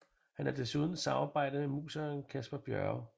Han har desuden samarbejdet med musikeren Kasper Bjørke